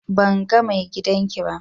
Ban gan main giɗan ki ba,